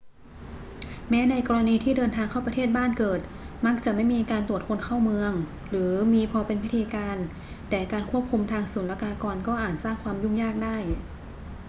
แม้ในกรณีที่เดินทางเข้าประเทศบ้านเกิด มักจะไม่มีการตรวจคนเข้าเมืองหรือมีพอเป็นพิธีการ แต่การควบคุมทางศุลกากรก็อาจสร้างความยุ่งยากได้